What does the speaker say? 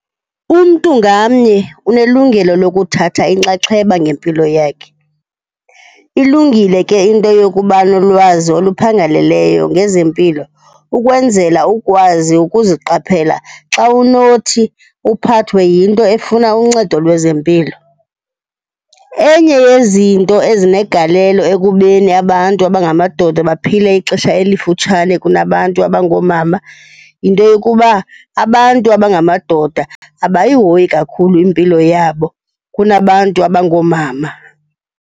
Umntu ngamnye unelungelo lokuthatha inxaxheba ngempilo yakhe. Ilungile ke into yokuba nolwazi oluphangaleleyo ngezempilo ukwenzela ukukwazi ukuziqaphela xa unothi uphathwe yinto efuna uncedo lwezempilo. Enye yezinto ezinegalelo ekubeni abantu abangamadoda baphile ixesha elifutshane kunabantu abangoomama, yinto yokuba abantu abangamadoda abayihoyi kakhulu impilo yabo kunabantu abangoomama.